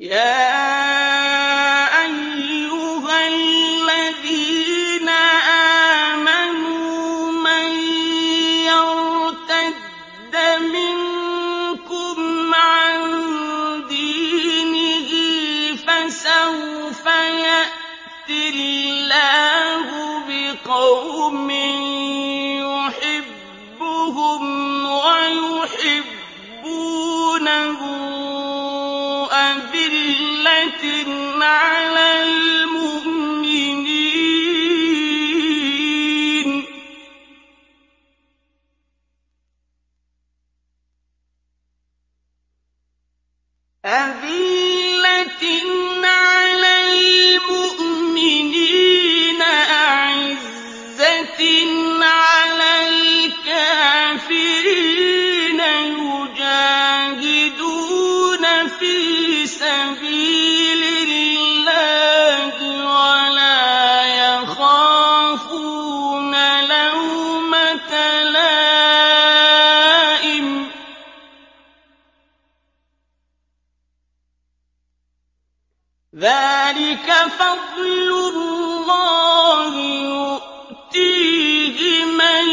يَا أَيُّهَا الَّذِينَ آمَنُوا مَن يَرْتَدَّ مِنكُمْ عَن دِينِهِ فَسَوْفَ يَأْتِي اللَّهُ بِقَوْمٍ يُحِبُّهُمْ وَيُحِبُّونَهُ أَذِلَّةٍ عَلَى الْمُؤْمِنِينَ أَعِزَّةٍ عَلَى الْكَافِرِينَ يُجَاهِدُونَ فِي سَبِيلِ اللَّهِ وَلَا يَخَافُونَ لَوْمَةَ لَائِمٍ ۚ ذَٰلِكَ فَضْلُ اللَّهِ يُؤْتِيهِ مَن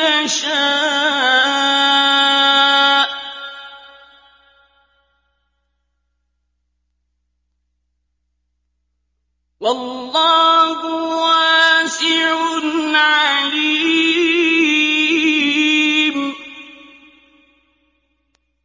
يَشَاءُ ۚ وَاللَّهُ وَاسِعٌ عَلِيمٌ